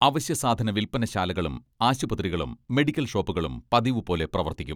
അവശ്യ സാധന വിൽപ്പനശാലകളും ആശുപത്രികളും മെഡിക്കൽ ഷോപ്പുകളും പതിവുപോലെ പ്രവർത്തിക്കും.